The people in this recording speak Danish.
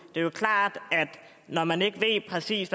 det er klart at når man ikke ved præcis